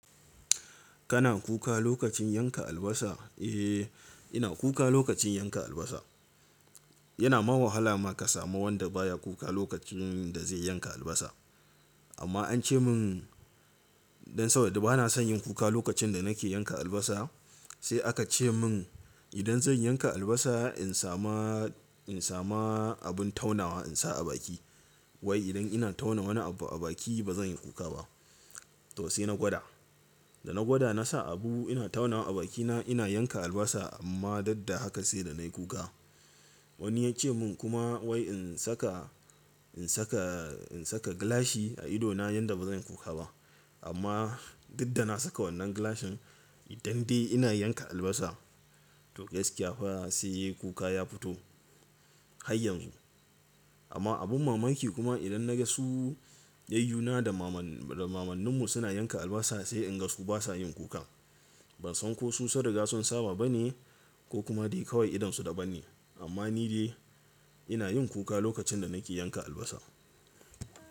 Kana kuka lokacin yanka albasa? Eh, ina kuka lokacin yanka albasa. Yana mawakala ma ka samu wanda baya kuka lokacin da zai yanka albasa. Amma an ce min dan saboda bana son yin kuka lokacin da nake yanka albasa sai aka ce min idan zan yanka albasa in sama, in sama abun taunawa in sa a baki. Wai idan ina tauna wani abu a baki ba zan yi kuka ba. To sai na gwada. Da na gwada na sa abu ina taunawa a bakina ina yanka albasa amma dadda haka sai da nayi kuka. Wani ya ce mun kuma wai in saka, in saka, in saka gilashi a idona yanda ba zan yi kuka ba. Amma dadda na saka wannan gilashin idan dai ina yanka albasa to gaskiya fa sai kuka ya fito. Hayyan zu. Amma abun mamaki kuma idan na ga su yayyuna da maman, da mamannin mu suna yanka albasa sai in ga su basa yin kuka. Ban san ko su sun riga sun saba bane ko kuma dai kawai idonsu daban ne. Amma ni dai ina yin kuka lokacin da nake yanka albasa.